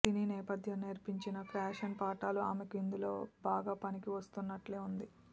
సినీ నేపథ్యం నేర్పించిన ఫ్యాషన్ పాఠాలు ఆమెకు ఇందులో బాగా పనికి వస్తున్నట్లే ఉంది